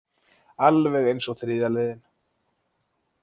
Alveg eins og þriðja leiðin.